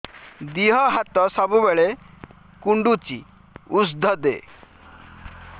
ଦିହ ହାତ ସବୁବେଳେ କୁଣ୍ଡୁଚି ଉଷ୍ଧ ଦେ